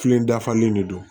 Filen dafalen de don